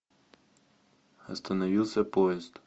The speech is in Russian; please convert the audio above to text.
остановился поезд